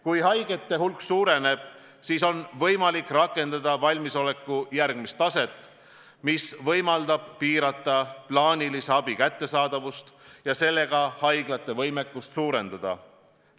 Kui haigete hulk suureneb, siis on võimalik rakendada valmisoleku järgmist taset, mis võimaldab piirata plaanilise ravi kättesaadavust ja sellega haiglate võimekust suurendada.